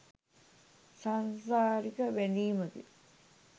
සාංසාරික බැඳීමකි.